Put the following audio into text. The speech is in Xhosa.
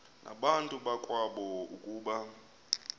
nabantu bakowabo ukuba